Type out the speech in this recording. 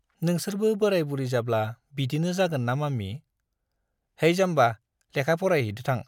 नोंसोरबो बोराय-बुरि जाब्ला बिदिनो जागोन ना माम्मि ? है जाम्बा, लेखा फारायहैदो थां ।